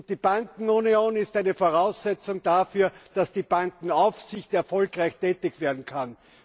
Die Bankenunion ist eine Voraussetzung dafür, dass die Bankenaufsicht erfolgreich tätig werden kann.